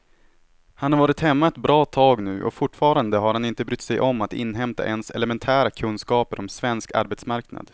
Han har varit hemma ett bra tag nu och fortfarande har han inte brytt sig om att inhämta ens elementära kunskaper om svensk arbetsmarknad.